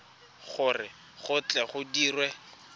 gore go tle go dirwe